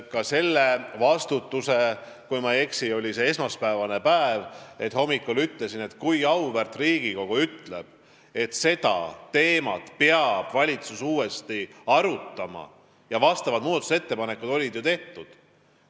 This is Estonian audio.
Ütlesin sellel hommikul – kui ma ei eksi, siis oli see esmaspäevane päev –, et kui auväärt Riigikogu ütleb, et valitsus peab seda teemat uuesti arutama, siis mina viin selle valitsusesse ja kui vaja, olen nõus ka selle üle hääletama.